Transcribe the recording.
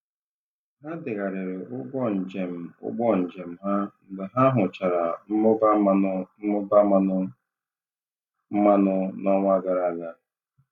Ha degharịrị ụgwọ njem ụgbọ njem ha mgbe ha hụchara mmụba mmanụ mmụba mmanụ mmanụ n'ọnwa gara aga.